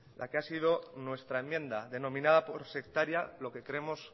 la que ha sido nuestra enmienda denominada por sectaria lo que creemos